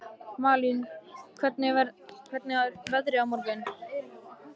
Malín, hvernig er veðrið á morgun?